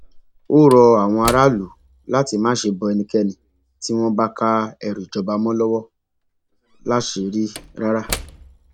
ó rọ àwọn aráàlú láti má ṣe bọ ẹnikẹni tí wọn bá ká ẹrù ìjọba mọ lọwọ láṣìírí rárá